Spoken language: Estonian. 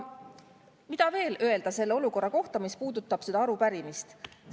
Mida veel öelda selle olukorra kohta, mis puudutab seda arupärimist?